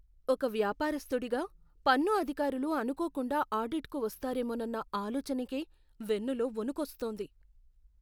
ఒక వ్యాపారస్తుడిగా, పన్ను అధికారులు అనుకోకుండా ఆడిట్కి వస్తారేమోనన్న ఆలోచనకే వెన్నులో వణుకొస్తోంది.